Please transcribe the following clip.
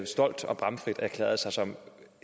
stolt og bramfrit erklærede sig som